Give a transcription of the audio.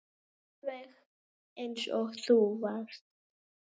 Alveg eins og þú varst.